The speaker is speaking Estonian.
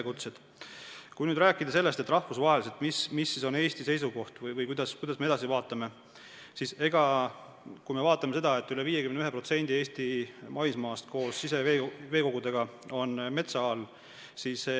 Kui nüüd rääkida sellest, mis on rahvusvaheliselt Eesti seisukoht või kuidas me edasi vaatame, siis teades, et üle 51% Eesti maismaast koos siseveekogudega on metsa all.